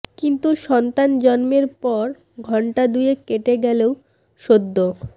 কিন্তু সন্তান জন্মের পর ঘণ্টা দুয়েক কেটে গেলেও সদ্যো